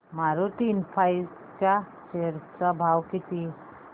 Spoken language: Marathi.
मारुती इन्फ्रा च्या शेअर चा भाव किती